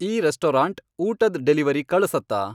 ಈ ರೆಸ್ಟೊರಾಂಟ್ ಊಟದ್ ಡೆಲಿವರಿ ಕಳ್ಸತ್ತಾ